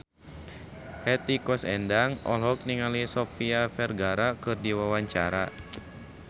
Hetty Koes Endang olohok ningali Sofia Vergara keur diwawancara